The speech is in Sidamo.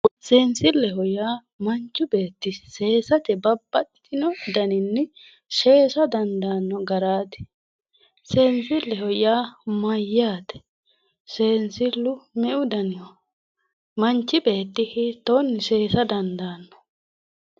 Seensilleho yaa manchu beetti seesate babbaxxitino daninni seesate dandaanno garaati seensilleho yaa mayyate seensillu me"u daniho manchi beetti hiittoonni seesa dandaanno